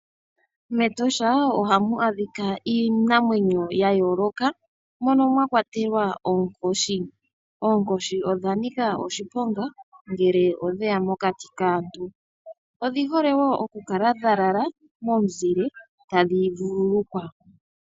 MEtosha ohamu adhika iinamwenyo ya yooloka mono mwa kwatelwa oonkoshi. Oonkoshi odha nika oshiponga ngele odheya mokati kaantu. Odhi hole wo okukala dha lala momuzile ta dhi vululukwa.